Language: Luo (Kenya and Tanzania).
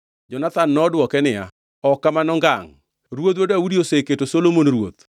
Jonathan nodwoke niya, “Ok kamano ngangʼ! Ruodhwa Daudi oseketo Solomon ruoth.